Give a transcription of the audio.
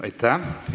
Aitäh!